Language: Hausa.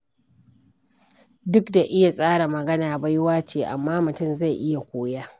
Duk da iya tsara magana baiwa ce amma mutum zai iya koya.